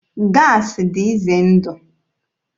Gaasị dị ize ndụ.